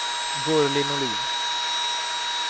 Gurli Norlin